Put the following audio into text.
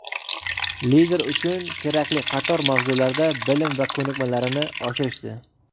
lider uchun kerakli qator mavzularda bilim va koʼnikmalarini oshirishdi.